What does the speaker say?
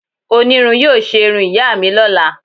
Onirun yóò se irún iya mi lọla.